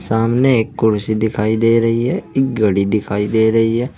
सामने एक कुर्सी दिखाई दे रही है एक घड़ी दिखाई दे रही है।